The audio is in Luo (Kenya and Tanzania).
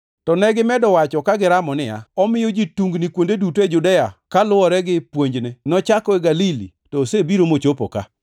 To negimedo wacho ka giramo niya, “Omiyo ji tungni kuonde duto e Judea kaluwore gi puonjne. Nochako e Galili to osebiro mochopo ka.”